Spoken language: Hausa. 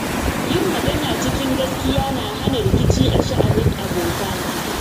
Yin magana cikin gaskiya na hana rikici a sha'anin abota.